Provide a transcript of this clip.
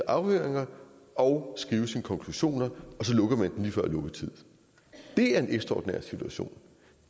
afhøringer og skrive sine konklusioner og så lukker man den lige før lukketid det er en ekstraordinær situation